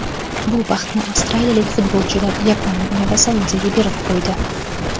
Bu baxtni avstraliyalik futbolchilar Yaponiya va Saudiyaga berib qo‘ydi.